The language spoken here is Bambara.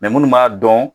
munnu b'a dɔn